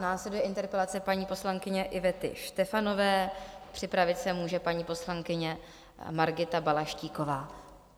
Následuje interpelace paní poslankyně Ivety Štefanové, připravit se může paní poslankyně Margita Balaštíková.